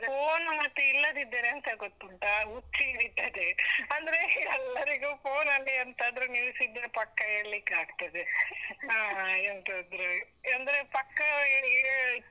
phone ಮತ್ತೆ ಇಲ್ಲದಿದ್ದರೆ ಎಂತ ಗೊತುಂಟಾ, ಹುಚ್ಚ್ ಹಿಡಿತದೆ , ಅಂದ್ರೆ ಎಲ್ಲರಿಗು phone ಅಲ್ಲೇ ಎಂತಾದ್ರೂ news ಇದ್ರೆ ಪಕ್ಕ ಹೇಳಿಕ್ಕಾಗ್ತದೆ, ಆ ಎಂತಾದ್ರೂ ಅಂದ್ರೆ ಪಕ್ಕ ಆ ಆ.